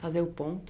Fazer o ponto.